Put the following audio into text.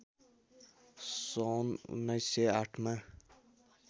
सन् १९०८ मा